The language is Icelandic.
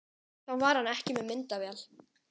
Þá var hann ekki með myndavél